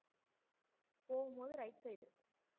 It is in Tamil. போகும்போது right side உ